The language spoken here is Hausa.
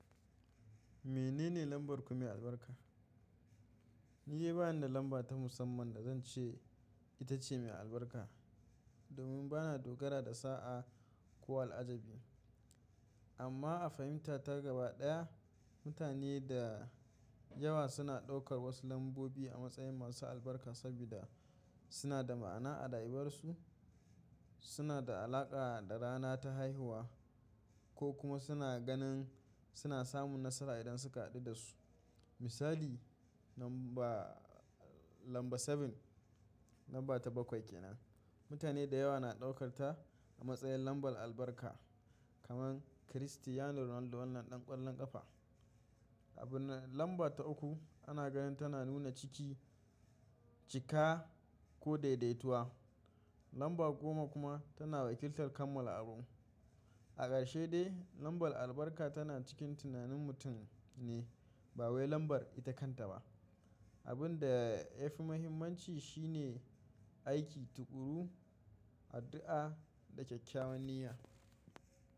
Menene lambar ku mai albarka? Ni yi bani da lamba ta musamman da zan ce ita ce mai albarka domin bana dogara da sa'a ko al'ajabi. Amma a fahimta ta gaba ɗaya, mutane da yawa suna ɗaukar wasu lambobi a matsayin masu albarka saboda suna da ma'ana a rayuwarsu, suna da alaƙa da rana ta haihuwa ko kuma suna ganin suna samun nasara idan suka haɗu da su. Misali lamba, lamba sabin, lamba ta bakwai kenan. Mutane da yawa na ɗaukar ta a matsayin lambar albarka. Kaman chrstiano Ronaldo wannan ɗan ƙwallon ƙafa. Abi nan lamba ta uku ana ganin tana nuna ciki, cika ko daidaituwa. Lamba goma kuma tana wakiltar kammala abu. A ƙarshe dai lambar albarka tana cikin tunanin mutum ne ba wai lambar ita kanta ba. Abin da ya fi muhimmanci shi ne aiki, tuƙuru, addu'a da kyakkyawan niyya.